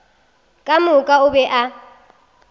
ka moka o be a